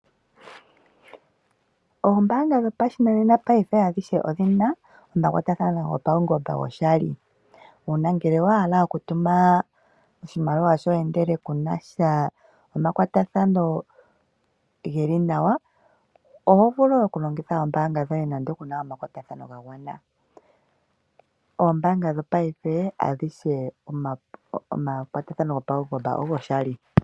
Oombaanga dhopashinanena paife adhishe odhina omakwatathano gopaungomba goshali . Uuna ngele owa hala oku tuma oshimaliwa shoye ndele ku nasha omakwatathano geli nawa ,oho vulu oku longitha oombaanga dhoye nando kuna omakwatathano ga gwana . Oombaanga dho paife adhishe omakwatathano gopaungomba ogo shali .